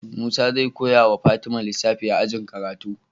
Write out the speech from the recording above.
Musa zai koyawa fatima lissafi a ajin karatu